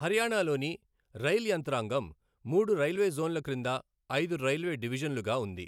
హర్యానాలోని రైల్ యంత్రాంగం మూడు రైల్వే జోన్ల క్రింద ఐదు రైల్వే డివిజన్లుగా ఉంది.